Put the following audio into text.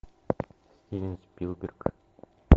стивен спилберг